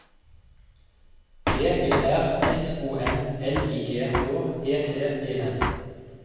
P E R S O N L I G H E T E N